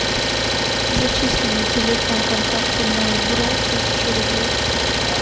зачисли на телефон контакту мой бро тысячу рублей